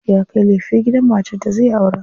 Ya kai kayan lefe gidan matar da zai aura.